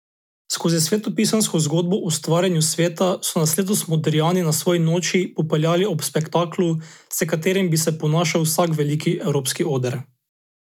Skozi svetopisemsko zgodbo o stvarjenju sveta so nas letos Modrijani na svoji Noči popeljali ob spektaklu, s katerim bi se ponašal vsak veliki evropski oder.